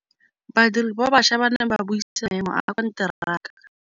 Badiri ba baša ba ne ba buisa maêmô a konteraka.